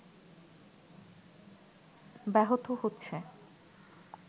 ব্যাহত হচ্ছে